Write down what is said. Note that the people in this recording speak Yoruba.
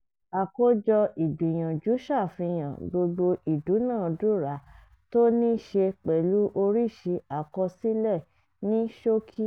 àkójọ ìgbìyànjú ṣàfihàn gbogbo ìdúnàádúrà tó ní ṣe pẹ̀lú oríṣi àkọsílẹ̀ ní ṣókí.